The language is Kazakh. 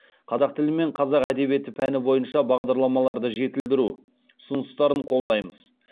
қазақ тілі мен қазақ әдебиеті пәні бойынша бағдарламаларды жетілдіру ұсыныстарын қолдаймыз